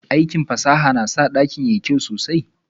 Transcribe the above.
Aikin fasaha na sa dakin yayi kyau sosai.